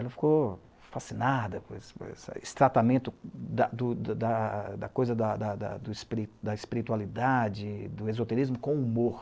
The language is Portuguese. Ela ficou fascinada com esse tratamento da, du, da, coisa, da, da, da, da coisa da espiritualidade, do esoterismo com o humor.